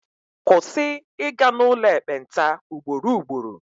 Kwụsị ịga n'ụlọ ekpenta ugboro ugboro!